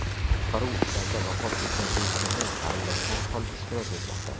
Qutqaruv ishlarida vafot etgan o‘smirning qarindoshlari ham ishtirok etmoqda.